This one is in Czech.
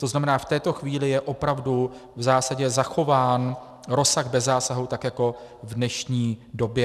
To znamená, v této chvíli je opravdu v zásadě zachován rozsah bez zásahu tak jako v dnešní době.